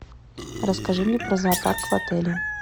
расскажи мне про зоопарк в отеле